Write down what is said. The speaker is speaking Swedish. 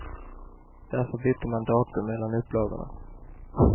Därför bytte man datum mellan upplagorna.